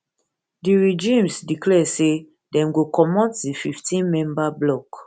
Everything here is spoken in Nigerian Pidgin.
di regimes declare say dem go comot di fifteen member bloc